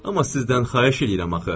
Amma sizdən xahiş eləyirəm axı,